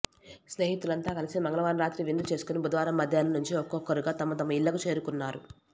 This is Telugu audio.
స్నేహితులంతా కలిసి మంగళవారం రాత్రి విందు చేసుకొని బుధవారం మధ్యాహ్నం నుంచి ఒక్కొక్కరుగా తమ తమ ఇళ్లకు చేరుకున్నారు